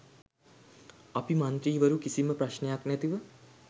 අපි මන්ත්‍රීවරු කිසිම ප්‍රශ්නයක් නැතිව